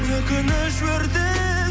өкініш өртеп